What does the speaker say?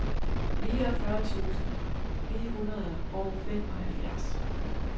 niogfyrre tusind ni hundrede og femoghalvfjerds